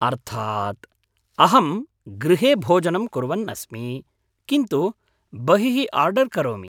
अर्थात्, अहं गृहे भोजनं कुर्वन्नस्मि, किन्तु बहिः आर्डर् करोमि।